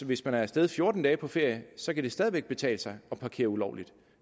hvis man er af sted fjorten dage på ferie så kan det stadig væk betale sig at parkere ulovligt